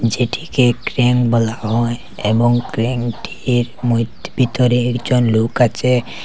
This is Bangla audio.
যেটিকে ক্রেন বলা হয় এবং ক্রেনটির মইধ ভিতরে একজন লোক আছে।